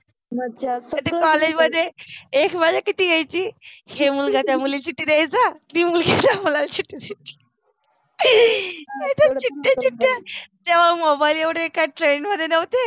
मज्जा असते, कॉलेज मधे एक मजा किति यायचि हे मुलगा त्या मुलिला चिट्ठि द्यायच तेव्हा मोबाईल एवढे नसायचे